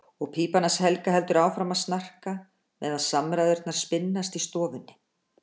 Og pípan hans Helga heldur áfram að snarka meðan samræðurnar spinnast í stofunni.